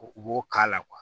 U b'o k'a la